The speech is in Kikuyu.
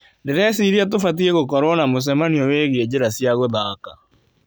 Ndĩreciria tũbatie gũkorwo na mũcemanio wĩgie njĩra cia gũthaka.